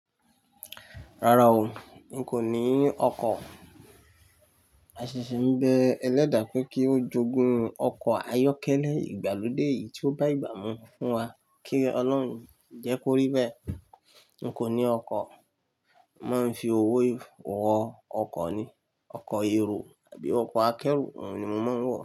Rárá o, n kò ní ọkọ̀. A ṣì ṣì ń bẹ ẹlẹ́dàá pé kí ó jogún ọkọ̀ ayọ́kẹ́lẹ́ ìgbàlódé eyí tí ó bá ìgbà mú fún wa. Kí Ọlọ́run jẹ́ kó rí bẹ́ẹ̀. N kò ní ọkọ̀. Mo máa ń fi owó wo ọkọ̀ ni, ọkọ̀ èrò àbí ọkọ̀ akẹ́rù, òun ni mo máa ń wò.